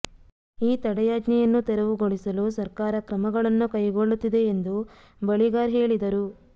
ಈ ತಡೆಯಾಜ್ಞೆಯನ್ನು ತೆರವುಗೊಳಿಸಲು ಸರ್ಕಾರ ಕ್ರಮಗಳನ್ನು ಕೈಗೊಳ್ಳುತ್ತಿದೆ ಎಂದು ಬಳಿಗಾರ್ ಹೇಳಿದರು